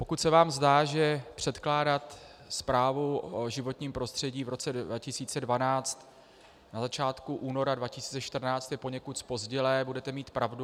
Pokud se vám zdá, že předkládat zprávu o životním prostředí v roce 2012 na začátku února 2014 je poněkud zpozdilé, budete mít pravdu.